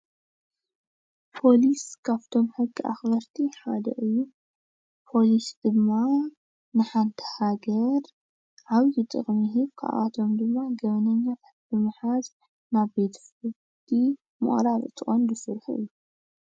ፖሊስ ካብቶም ሕጊ አክበርቲ ሓደ እዩ። ፖሊስ ድማ ንሓንቲ ሃገር ዓብዪ ጥቅሚ ይህብ። ካብአቶም ድማ ገበነኛ ብምሓዝ ናብ ቤት ፍርዲ ምቅራብ እቲ ቀንዲ ስርሑ እዩ።